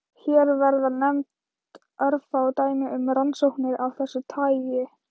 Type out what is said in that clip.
Hér verða nefnd örfá dæmi um rannsóknir af þessu tagi.